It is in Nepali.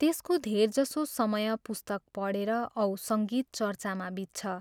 त्यसको धेरजसो समय पुस्तक पढेर औ सङ्गीत चर्चामा बित्छ।